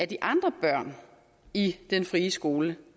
de andre børn i den frie skole